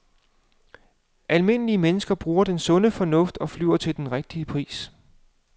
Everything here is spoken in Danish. Almindelige mennesker bruger den sunde fornuft og flyver til den rigtige pris.